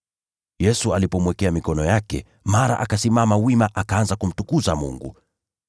Yesu alipomwekea mikono yake, mara akasimama wima akaanza kumtukuza Mungu.